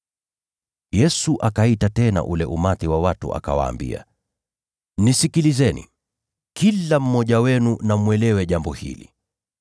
Yesu akaita tena ule umati wa watu, akawaambia, “Nisikilizeni, kila mmoja wenu na mwelewe jambo hili.